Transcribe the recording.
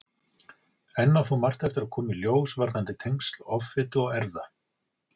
Enn á þó margt eftir að koma í ljós varðandi tengsl offitu og erfða.